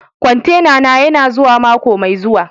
Kwantena na yana zuwa mako mai zuwa.